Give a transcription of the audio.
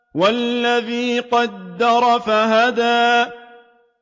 وَالَّذِي قَدَّرَ فَهَدَىٰ